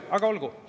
Aga olgu!